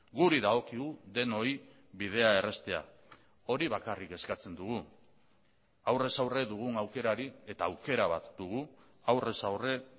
guri dagokigu denoi bidea erraztea hori bakarrik eskatzen dugu aurrez aurre dugun aukerari eta aukera bat dugu aurrez aurre